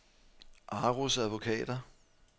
Aros Advokater